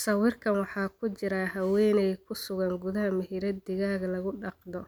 Sawirkan waxaa ku jira haweeney ku sugan gudaha meherad digaag lagu dhaqdho